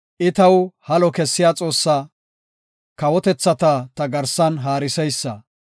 I taw halo kessiya Xoossaa; kawotethata ta garsan haariseysa.